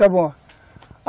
Está bom.